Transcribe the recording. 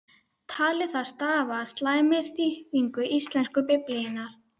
Taldi það stafa af slæmri þýðingu íslensku biblíunnar.